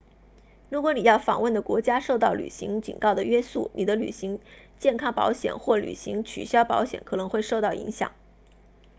如果你要访问的国家受到旅行警告的约束你的旅行健康保险或旅行取消保险可能会受到影响